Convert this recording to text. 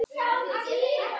En tíminn var á þrotum.